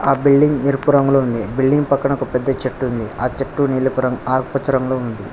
ఆ బిల్డింగ్ ఎరుపు రంగులో ఉంది బిల్డింగ్ పక్కన ఒక పెద్ద చెట్టు ఉంది ఆ చెట్టు నీలపు రంగ్ ఆకుపచ్చ రంగులో ఉంది.